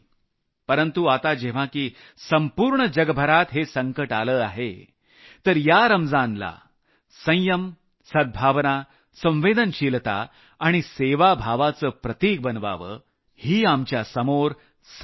परंतु आता जेव्हा की संपूर्ण जगभरात हे संकट आलंच आहे तर या रमजानला संयम सद्भावना संवेदनशीलता आणि सेवाभावाचं प्रतिक बनवावं ही आमच्यासमोर संधी आहे